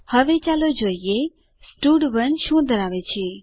હવે ચાલો જોઈએ સ્ટડ1 શું ધરાવે છે